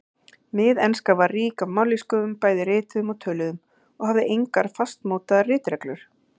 Miðenska var rík af mállýskum, bæði rituðum og töluðum, og hafði engar fastmótaðar ritreglur.